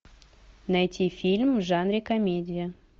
найти фильм в жанре комедия